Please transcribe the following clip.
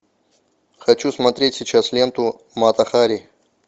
хочу смотреть сейчас ленту мата хари